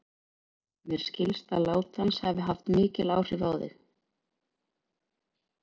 Mér skilst að lát hans hafi haft mikil áhrif á þig.